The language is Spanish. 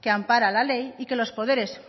que ampara la ley y que los poderes